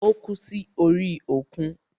Ó kú sí orí òkun.